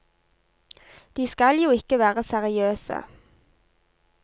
De skal jo ikke være seriøse.